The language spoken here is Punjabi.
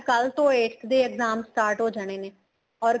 ਕੱਲ ਤੋ ਇੱਕ ਦੇ exam start ਹੋ ਜਾਣੇ ਨੇ or